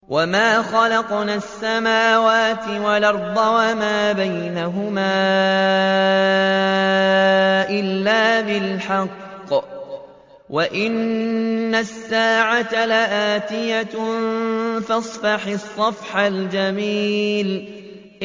وَمَا خَلَقْنَا السَّمَاوَاتِ وَالْأَرْضَ وَمَا بَيْنَهُمَا إِلَّا بِالْحَقِّ ۗ وَإِنَّ السَّاعَةَ لَآتِيَةٌ ۖ فَاصْفَحِ الصَّفْحَ الْجَمِيلَ